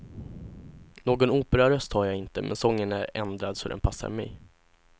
Någon operaröst har jag inte, men sången är ändrad så den passar mig.